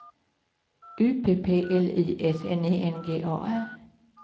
U P P L Y S N I N G A R